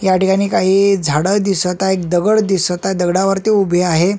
याठिकाणी काही झाड दिसत आहे एक दगड दिसत आहे दगडावरती उभे आहे.